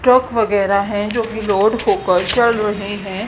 Truck वगैरह हैं जो कि लोड होकर चल रहे हैं।